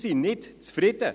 Diese sind zufrieden.